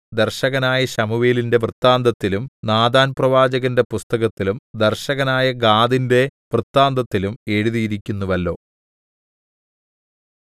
ദർശകനായ ശമൂവേലിന്റെ വൃത്താന്തത്തിലും നാഥാൻപ്രവാചകന്റെ പുസ്തകത്തിലും ദർശകനായ ഗാദിന്റെ വൃത്താന്തത്തിലും എഴുതിയിരിക്കുന്നുവല്ലോ